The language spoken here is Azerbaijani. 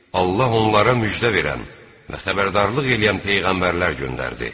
Allah onlara müjdə verən və xəbərdarlıq eləyən peyğəmbərlər göndərdi.